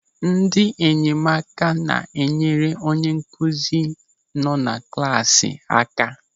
Ndị enyemaka na-enyere onye nkụzi nọ na klasị aka.